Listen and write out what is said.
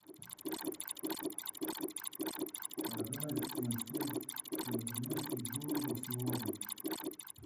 продать семьсот канадских долларов сегодня